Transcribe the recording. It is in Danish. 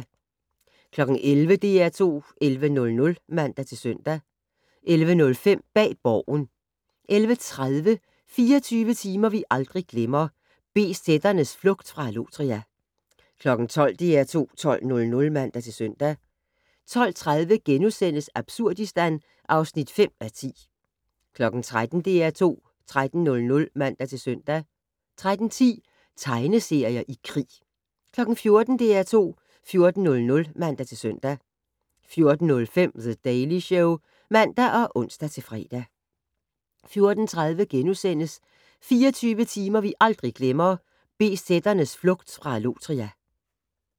11:00: DR2 11:00 (man-søn) 11:05: Bag Borgen 11:30: 24 timer vi aldrig glemmer - BZ'ernes flugt fra Allotria 12:00: DR2 12:00 (man-søn) 12:30: Absurdistan (5:10)* 13:00: DR2 13:00 (man-søn) 13:10: Tegneserier i krig 14:00: DR2 14:00 (man-søn) 14:05: The Daily Show (man og ons-fre) 14:30: 24 timer vi aldrig glemmer - BZ'ernes flugt fra Allotria *